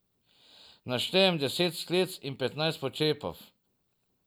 Naštejem deset sklec in petnajst počepov.